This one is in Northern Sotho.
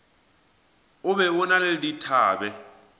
be o na le dithabe